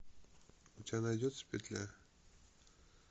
у тебя найдется петля